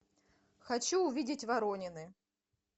хочу увидеть воронины